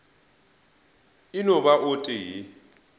e no ba o tee